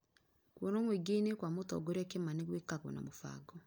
Kũonwo mũĩngĩ- ĩnĩ kwa mũtongorĩa Kimani gwĩkagwo na mũbango